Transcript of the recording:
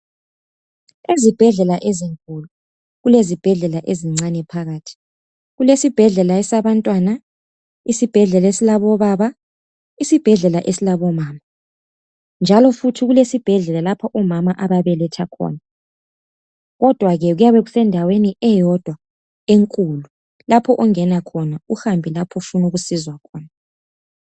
Ezibhedlela ezinkulu, kule zibhedlela ezincane phakathi. Kulesibhedlela sabantwana, isibhedlela esilabobaba, sisbhedlela esilabomama. Njalo kulesibhedlela lapho omama ababeletha khona. Kodwake kuyabe kusendaweni eyodwa enkulu, lapho ongena khona, uhambe lapho ofuna ukusizwa khona.